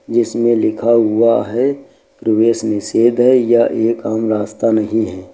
जिसमें लिखा हुआ है प्रवेश निषेध है यह एक आम रास्ता नहीं है।